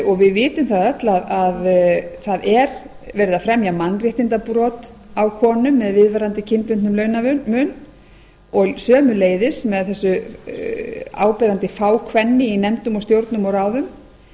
og við vitum það öll að það er verið að fremja mannréttindabrot á konum með viðvarandi kynbundnum launamun og sömuleiðis með þessu áberandi fákvenni í stjórnum og ráðum